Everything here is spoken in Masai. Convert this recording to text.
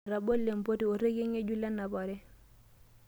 Etabolo empoti orekie ng'ejuk lenapare.